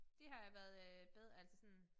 Det har jeg været øh altså sådan